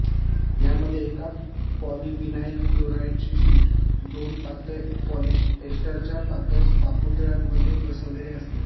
यामध्ये एका पॉलिव्हिनाइल क्लोराइडची शीट दोन पातळ पॉलिएस्टरच्या पातळ पापुद्रयांमध्ये बसवलेली असते